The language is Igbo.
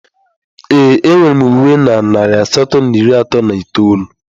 Ee, enwere m uwe na narị asatọ na iri atọ na itoolu